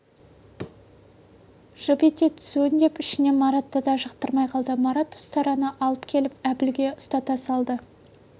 жып ете түсуін деп ішінен маратты да жақтырмай қалды марат ұстараны алып келіп әбілге ұстата салды